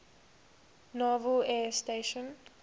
naval air station